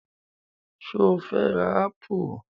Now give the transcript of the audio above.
Sọ fẹ́ ra ápù?